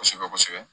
Kosɛbɛ kosɛbɛ